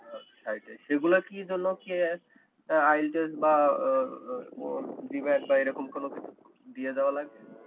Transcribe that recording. site এ সেগুলা কি জন্য কি eye test বা আহ আহ GMAT এরকম কোনো কিছু দিয়ে যাওয়া লাগবে?